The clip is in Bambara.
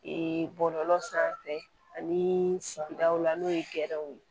Ee bɔlɔlɔ sanfɛ ani sigidaw la n'o ye gɛrɛw ye